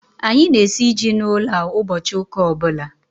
Anyị na-esi ji n'ụlọ a ụbọchị ụka ọbụla